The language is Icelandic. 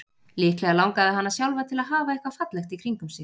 Líklega langaði hana sjálfa til að hafa eitthvað fallegt í kringum sig.